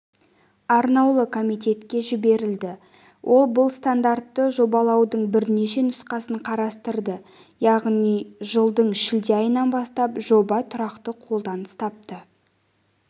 арнаулы комитетке жіберілді ол бұл стандартты жобалаудың бірнеше нұсқасын қарастырды яғни жылдың шілде айынан бастап жоба тұрақты қолданыс тапты